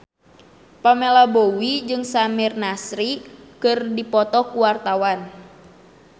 Pamela Bowie jeung Samir Nasri keur dipoto ku wartawan